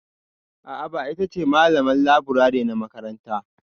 A'a ba ita ba che malaman leburare na makaranta.